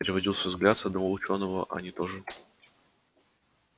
переводил свой взгляд с одного учёного а они тоже